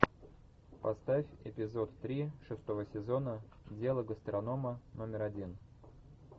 поставь эпизод три шестого сезона дело гастронома номер один